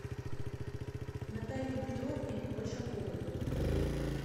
наталье петровне большаковой